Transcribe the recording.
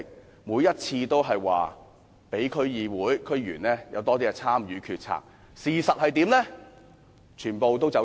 政府每次均表示會讓區議會和區議員更多參與決策，事實上卻全部"走數"。